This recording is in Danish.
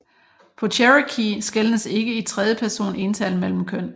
På cherokee skelnes ikke i tredje person ental mellem køn